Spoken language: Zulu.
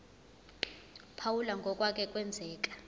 phawula ngokwake kwenzeka